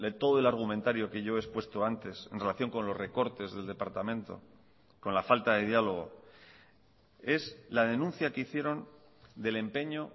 todo el argumentario que yo he expuesto antes en relación con los recortes del departamento con la falta de diálogo es la denuncia que hicieron del empeño